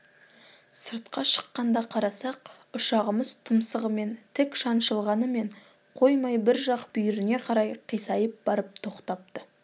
сыртқа шыққанда қарасақ ұшағымыз тұмсығымен тік шаншылғанымен қоймай бір жақ бүйіріне қарай қисайып барып тоқтапты